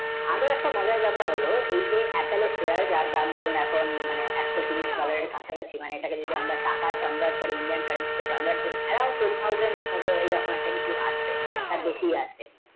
আরও একটা মজার ব্যাপার হলো এই যে apple ar shear যার দাম দুরণ এখন মানে একশো তিরিশ dollar এর কাছাকাশি মানে এটাকে আমরা টাকাই kanven করি বা indian করি এই রকম কিছু আছে তাঁর বেশ আছে